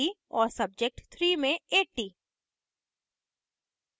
और subject 3 में 80